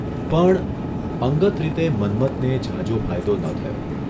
પણ અંગત રીતે મન્મથને ઝાઝો ફાયદો ન થયો.